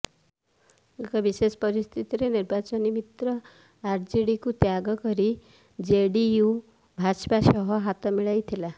ଏକ ବିଶେଷ ପରିସ୍ଥିତିରେ ନିର୍ବାଚନୀ ମିତ୍ର ଆରଜେଡିକୁ ତ୍ୟାଗ କରି ଜେଡିୟୁ ଭାଜପା ସହ ହାତ ମିଳାଇଥିଲା